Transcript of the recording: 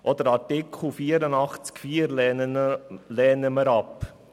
Auch Artikel 84 Absatz 4 lehnen wir ab.